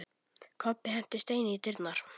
Kobbi henti steini í dyrnar.